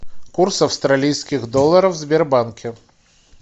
курс австралийских долларов в сбербанке